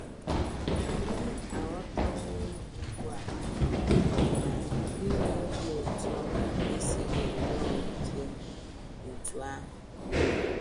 Anyị aghọtawo ugbu a na inwe obi ụtọ esighị nnọọ ike otú ahụ.